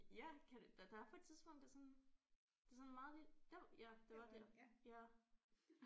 Ja kan du der er på et tidspunkt at sådan det er sådan meget lidt der ja det var der ja